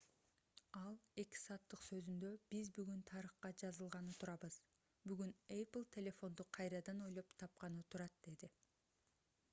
ал 2 сааттык сөзүндө биз бүгүн тарыхка жазылганы турабыз бүгүн apple телефонду кайрадан ойлоп тапканы турат - деди